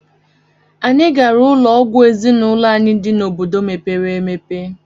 Anyị gara ụlọ ọgwụ ezinụlọ anyị dị n'obodo mepere emepe.